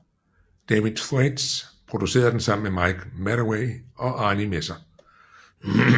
David Thwaites producerede den sammen med Mike Medavoy og Arnie Messer